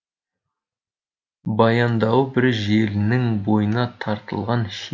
баяндауы бір желінің бойына тартылған ширақ